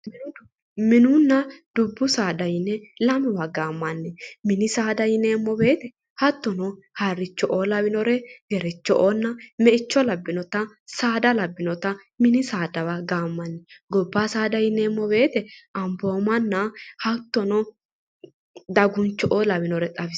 Mininna dubbu saada yine lamewa gaammanni mini saada yineemmo woyiite hattono harricho'oo lawinore gerechio'oonna meicho labbinota saada labbinota mini saadawa gaammanni. gobba saada yineemmo woyiite amboomanna hattono daguncho'oo lawinore xawisanno.